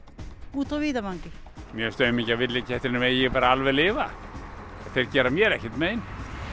úti á víðavangi mér finnst aumingja villikettirnir megi bara alveg lifa þeir gera mér ekkert mein